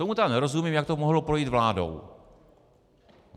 Tomu tedy nerozumím, jak to mohlo projít vládou.